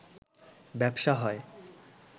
ব্যবসা হয়